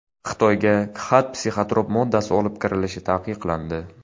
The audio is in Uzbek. Xitoyga Khat psixotrop moddasi olib kirilishi taqiqlandi.